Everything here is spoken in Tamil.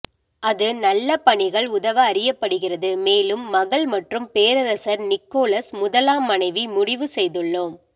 அது நல்ல பணிகள் உதவ அறியப்படுகிறது மேலும் மகள் மற்றும் பேரரசர் நிக்கோலஸ் முதலாம் மனைவி முடிவு செய்துள்ளோம்